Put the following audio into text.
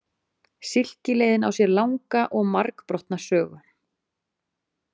Silkileiðin á sér langa og margbrotna sögu.